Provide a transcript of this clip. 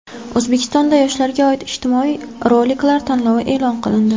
O‘zbekistonda yoshlarga oid ijtimoiy roliklar tanlovi e’lon qilindi.